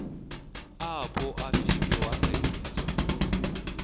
apho afike wangqengqiswa